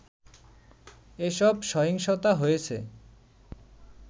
এসব সহিংসতা হয়েছে